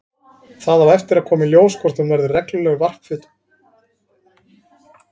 Það á eftir að koma í ljós hvort hún verður reglulegur varpfugl á Íslandi.